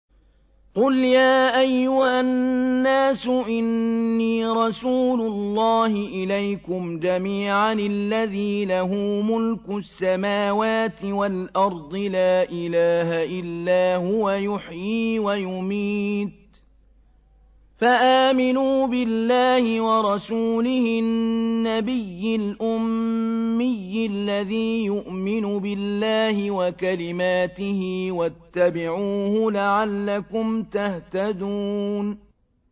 قُلْ يَا أَيُّهَا النَّاسُ إِنِّي رَسُولُ اللَّهِ إِلَيْكُمْ جَمِيعًا الَّذِي لَهُ مُلْكُ السَّمَاوَاتِ وَالْأَرْضِ ۖ لَا إِلَٰهَ إِلَّا هُوَ يُحْيِي وَيُمِيتُ ۖ فَآمِنُوا بِاللَّهِ وَرَسُولِهِ النَّبِيِّ الْأُمِّيِّ الَّذِي يُؤْمِنُ بِاللَّهِ وَكَلِمَاتِهِ وَاتَّبِعُوهُ لَعَلَّكُمْ تَهْتَدُونَ